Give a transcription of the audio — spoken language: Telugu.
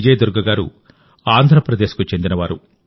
విజయ దుర్గ గారు ఆంధ్ర ప్రదేశ్ కు చెందినవారు